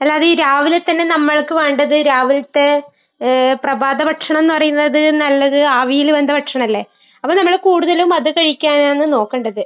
അല്ലാതെ ഈ രാവിലെ തന്നെ നമ്മൾക്ക് വേണ്ടത് രാവിലത്തെ പ്രഭാത ഭക്ഷണമെന്ന് പറയുന്നത് നല്ലത് ആവിയിൽ വെന്ത ഭക്ഷണമല്ലേ. അപ്പൊ നമ്മൾ കൂടുതലും അത് കഴിക്കാനാണ് നോക്കണ്ടത്.